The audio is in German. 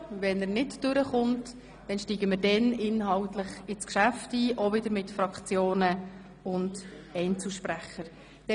Wenn nicht, steigen wir inhaltlich ins Geschäft ein, wiederum mit Fraktions- und Einzelsprechenden.